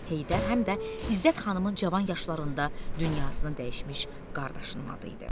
Heydər həm də İzzət xanımın cavan yaşlarında dünyasını dəyişmiş qardaşının adı idi.